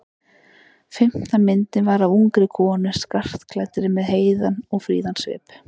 Fimmta myndin var af ungri konu skartklæddri með heiðan og fríðan svip.